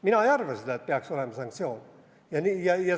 Mina ei arva, et peaks olema sanktsioon.